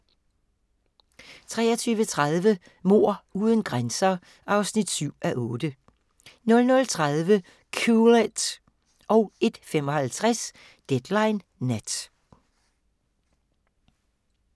23:30: Mord uden grænser (7:8) 00:30: Cool it 01:55: Deadline Nat